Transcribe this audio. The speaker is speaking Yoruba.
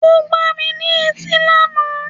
O gbà mí ní etí lànà